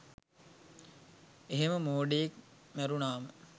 එහෙම මෝඩයෙක් මැරුණාම